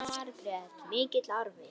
Jóhanna Margrét: Mikill arfi?